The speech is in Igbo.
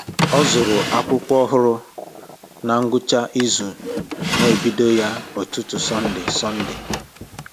Ọ zụrụ akwụkwọ ọhụrụ na ngwụcha izu na ebido ya ụtụtụ Sọnde Sọnde